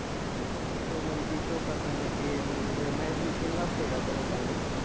मग ते show मध्ये show करताना ते म्हणजे, जे management केलं असतंय का त्या लोकांनी?